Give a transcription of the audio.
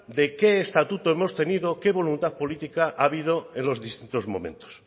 de qué estatuto hemos tenido qué voluntad política ha habido en los distintos momentos